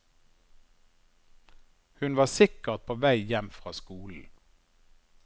Hun var sikkert på vei hjem fra skolen.